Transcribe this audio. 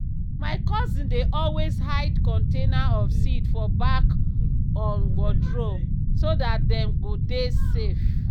my cousin dey always hide container of seed for back on wardrobe so dat dem go dey safe.